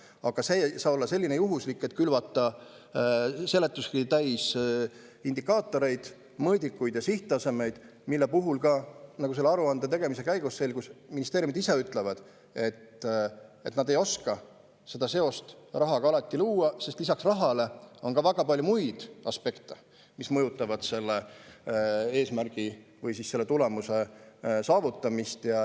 Aga see ei saa olla kuidagi juhuslik, nii et me külvame seletuskirja täis indikaatoreid, mõõdikuid ja sihttasemeid, mille puhul ka ministeeriumid ise ütlevad, nagu selle aruande tegemise käigus selgus, et nad ei oska alati luua seost rahaga, sest lisaks rahale on väga palju muid aspekte, mis mõjutavad tulemuse saavutamist.